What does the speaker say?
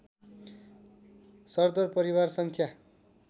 सरदर परिवार सङ्ख्या